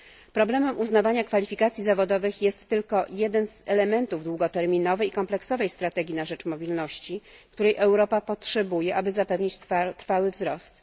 Problem uznawania kwalifikacji zawodowych jest tylko jednym z elementów długoterminowej i kompleksowej strategii na rzecz mobilności, której Europa potrzebuje, aby zapewnić trwały wzrost.